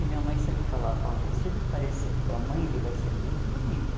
E minha mãe sempre falava, olha, se ele parecer com a mãe, ele vai ser muito bonito.